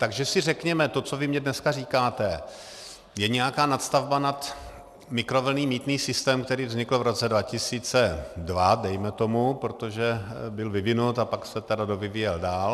Takže si řekněme, to, co vy mi dneska říkáte, je nějaká nadstavba nad mikrovlnný mýtný systém, který vznikl v roce 2002, dejme tomu, protože byl vyvinut a pak se tedy dovyvíjel dál.